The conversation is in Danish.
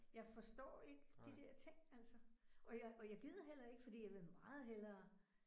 Jeg forstår ikke de der ting altså og jeg og jeg gider heller ikke fordi jeg vil meget hellere